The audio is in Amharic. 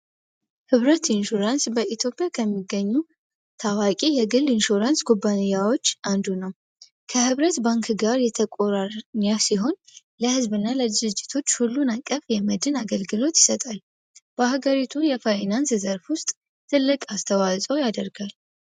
ኅብረት ኢንሹራንስ በኢትዮጵያ ከሚገኙ ታዋቂ የግል ኢንሹራንስ ኩባያዎች አንዱ ነው። ከሕብረት ባንክ ጋር የተቆራኛ ሲሆን ለህዝብ እና ለድዝጅቶች ሁሉን አቀፍ የመድን አገልግሎት ይሰጣል። በአሕገሪቱ የፋይናንስ ዘርፍ ውስጥ ትልቅ አስተዋጸው ያደርጋል።